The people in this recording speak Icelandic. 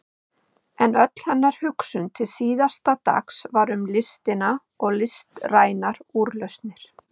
En öll hennar hugsun til síðasta dags var um listina og listrænar úrlausnir.